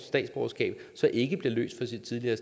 statsborgerskab så ikke bliver løst fra sit tidligere